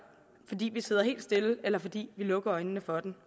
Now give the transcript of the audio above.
fordi vi sidder helt stille eller fordi vi lukker øjnene for den